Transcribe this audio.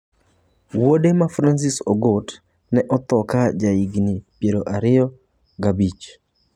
Wuode ma Francis Ogot, ne otho ka en jahigini 25.